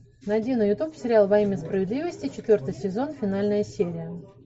найди на ютуб сериал во имя справедливости четвертый сезон финальная серия